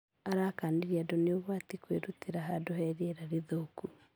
Arakanirie andũ ni ũgwati kwĩrutera hadũ he rĩera rithũku